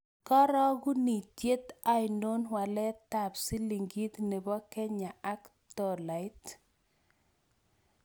Karogunitiet ainon walaetap silingit ne po Kenya ak tolait